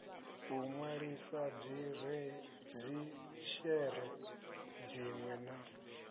u nwalisa dzishere dzinwe na